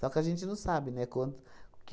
Só que a gente não sabe, né, quanto, o